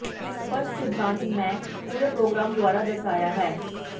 ਇਕ ਸਪੱਸ਼ਟ ਸਿਧਾਂਤ ਮੈਂ ਪੂਰੇ ਪ੍ਰੋਗ੍ਰਾਮ ਦੁਆਰਾ ਦਰਸਾਇਆ ਹੈ